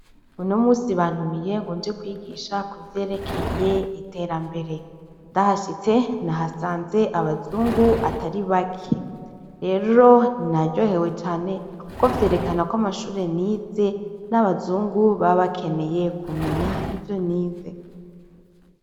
Uno munsi bantumiye ngo nje kwigisha ku vyerekeye iterambere, ndahashitse nahasanze abazungu atari bake, rero naryohewe cane kuko vyerekana ko amashure nize n'abazungu baba bakeneye kumenya ivyo nize.